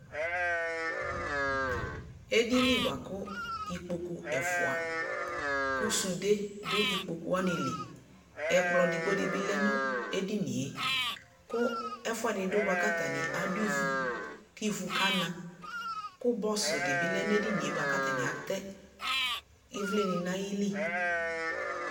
Edini boako ikpoku ɛfua ko sude do ikpoku wane liƐkplɔ edigbo de be lɛ no edinie ko ɛfuɛde do boa ka atane ado ivu ke ivu kana ko bɔsu de be ɔɛ no edinie boa ka atane atɛ evle ne na ayili